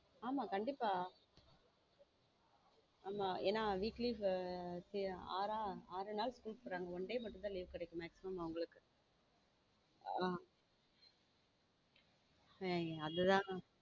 ஆமா கண்டிப்பா ஆமா என வீட்டிலேயே ஆறு நாள் school போறாங்க one day மட்டும்தான் leave கிடைக்கும் maximum அவங்களுக்கு அதுதான்.